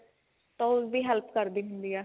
ਤਾਂ ਉਸਦੀ help ਕਰਦੀ ਹੁੰਦੀ ਏ